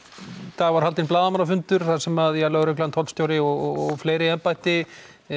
dag var haldinn blaðamannafundur þar sem lögregla tollstjóri og fleiri embætti